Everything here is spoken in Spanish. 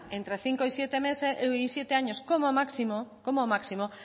entre cinco y siete años como máximo